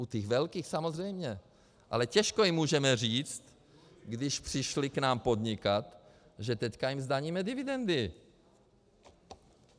U těch velkých samozřejmě, ale těžko jim můžeme říct, když přišly k nám podnikat, že teď jim zdaníme dividendy.